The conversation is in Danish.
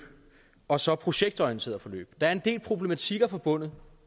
og så projektorienterede forløb der er en del problematikker forbundet